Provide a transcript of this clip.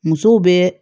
Musow bɛ